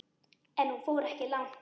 En hún fór ekki langt.